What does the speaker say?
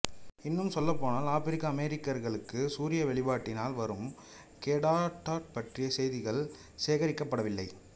இன்னும் சொல்லப்போனால் ஆபிரிக்க அமெரிக்கர்களுக்கு சூரிய வெளிபாட்டினால் வரும் கேடராக்ட் பற்றிய செய்திகள் சேகரிக்கப்படவில்லை